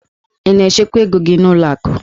Ị na-echekwa ego gị n'ụlọ akụ?